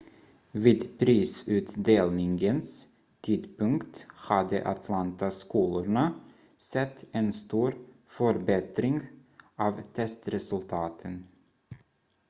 vid prisutdelningens tidpunkt hade atlanta-skolorna sett en stor förbättring av testresultaten